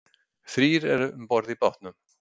Þrír eru um borð í bátnum